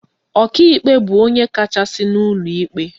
Ọkaikpe bụ onye kachasị n'ụlọ ikpe